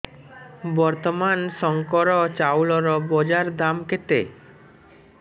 ବର୍ତ୍ତମାନ ଶଙ୍କର ଚାଉଳର ବଜାର ଦାମ୍ କେତେ